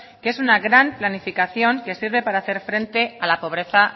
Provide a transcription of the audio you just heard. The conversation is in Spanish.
que es una gran planificación que sirve para hacer frente a la pobreza